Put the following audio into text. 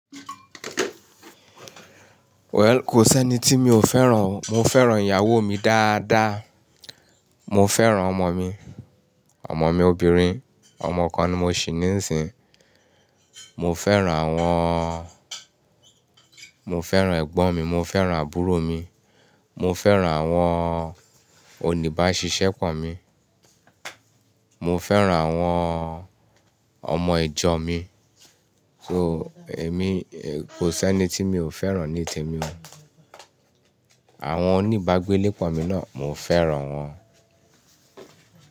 Well, kò sí ẹni tí mí ò fẹ́ràn. Mó fẹ́ràn ìyàwó mí dáadáa, mó fẹ́ràn ọmọ mi, ọmọ mi obìnrín, ọmọ kàn ní mó ṣì ní ìsìn, mo fẹ́ràn àwọn, mo fẹ́ràn ẹ̀gbọ́n mi, mo fẹ́ràn àbúrò mi, mo fẹ́ràn àwọn oníbáṣiṣẹ́ pọ̀ mi, mo fẹ́ràn àwọn ọmọ ìjọ mi. So èmi, kò sí ẹni tí mi ò fẹ́ràn ní témi. Àwọn onígbágbé lé pọ̀ mi náà, mo fẹ́ràn wọn.